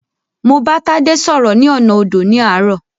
Mo bá Tádé sọ́rọ́ ní ọ̀nà odò ní àárọ̀.